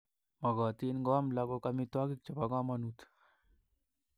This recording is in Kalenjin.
Mogotin koam lagok amitwogik chebo komonut